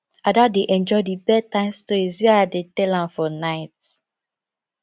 ada dey enjoy the bed time stories wey i dey tell am for night